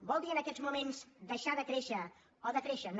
vol dir en aquests moments deixar de créixer o decréixer no